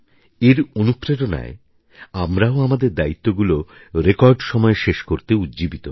এর অনুপ্রেরণায় আমরাও আমাদের দায়িত্বগুলো রেকর্ড সময়ে শেষ করতে উজ্জীবিত হই